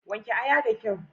Wanke aya da kyau.